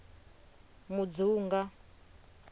mudzunga